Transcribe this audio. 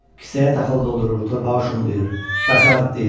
Kisəyə taxıl doldurur, torpağı şumlayır, daşı yarıqlayır.